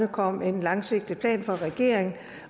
år kom en langsigtet plan fra regeringen